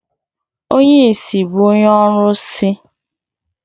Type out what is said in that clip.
Onye ìsì bụ onye ọrụsị.